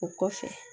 O kɔfɛ